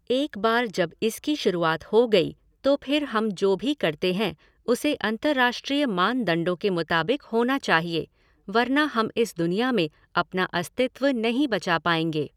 एक बार जब इसकी शुरुआत हो गई तो फिर हम जो भी करते हैं उसे अंतर्राष्ट्रीय मानदंडों के मुताबिक होना चाहिए वर्ना हम इस दुनिया में अपना अस्तित्व नहीं बचा पाएंगे।